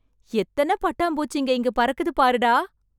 எத்தன பட்டாம்பூச்சிங்க இங்க பறக்குது பாருடா...